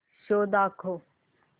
show दाखव